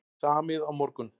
Samið á morgun